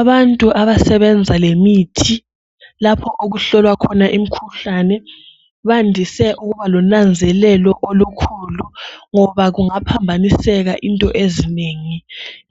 Abantu abasebenza lemithi, lapho okuhlolwa khona imikhuhlane, bandise ukuba lonanzelelo olukhulu, ngoba kungaphambaniseka into ezinengi,